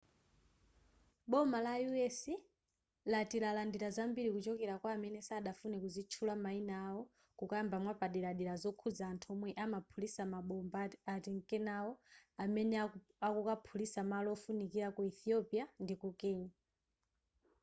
boma la u.s. lati lalandira zambiri kuchokera kwa amene sadafune kuzitchula mayina awo kukamba mwapaderadera zokhuza anthu omwe amaphulitsa mabomba atinkenawo amene akukaphulitsa malo ofunikira ku ethiopia ndiku kenya